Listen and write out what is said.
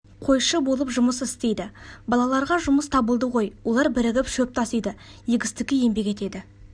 қойшы болып жұмыс істейді балаларға жұмыс табылады ғой олар бірігіп шөп тасиды егістікте еңбек етеді